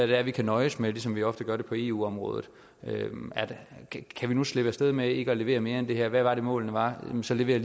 det er vi kan nøjes med ligesom vi ofte gør det på eu området kan vi nu slippe af sted med ikke at levere mere end det her hvad var det nu målene var jamen så leverer